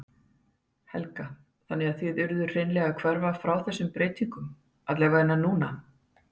Helga: Þannig að þið urðuð hreinlega að hverfa frá þessum breytingum allavega núna?